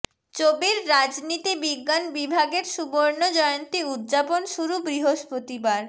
চবির রাজনীতি বিজ্ঞান বিভাগের সুবর্ণ জয়ন্তী উদযাপন শুরু বৃহস্পতিবার